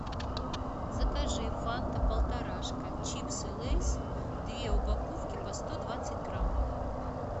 закажи фанта полторашка чипсы лейс две упаковки по сто двадцать грамм